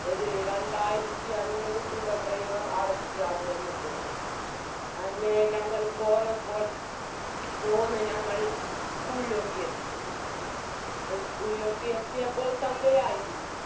ഒര് രണ്ടായിരത്തി അഞ്ഞൂറ് രൂപ driver അടച്ച് അവിടെ നിന്ന് പോയി അങ്ങനെ ഞങ്ങൾ പോന്നപ്പോൾ പോന്ന ഞങ്ങൾ school ലോട്ട് എത്തി school ലോട്ട് എത്തിയപ്പോൾ സന്ധ്യയായിരുന്നു